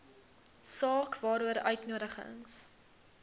saak waaroor uitnodigings